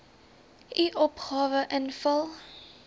u opgawe invul